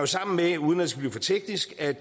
sammenhæng